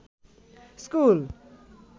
school